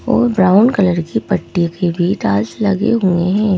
और brown colour की पट्टी के भी डाल्स लगे हुए हैं।